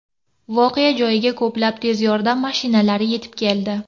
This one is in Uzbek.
Voqea joyiga ko‘plab tez yordam mashinalari yetib keldi.